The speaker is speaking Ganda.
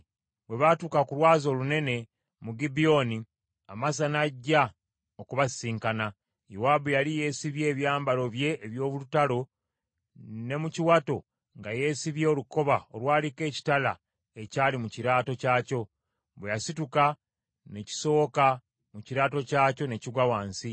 Bwe baatuuka ku lwazi olunene mu Gibyoni, Amasa n’ajja okubasisinkana. Yowaabu yali yeesibye ebyambalo bye eby’olutalo, ne mu kiwato nga yeesibye olukoba olwaliko ekitala ekyali mu kiraato kyakyo. Bwe yasituka, ne kisowoka mu kiraato kyakyo ne kigwa wansi.